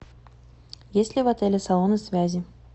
есть ли в отеле салоны связи